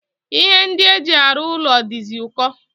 Ihe ndi eji aru ulo dizi uko